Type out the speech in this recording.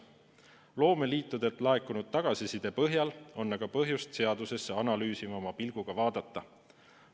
Loomeliitudelt laekunud tagasiside põhjal on aga põhjust seadust analüüsivama pilguga vaadata.